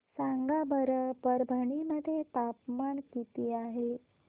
सांगा बरं परभणी मध्ये तापमान किती आहे